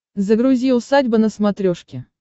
загрузи усадьба на смотрешке